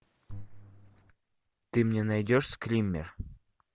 ты мне найдешь скример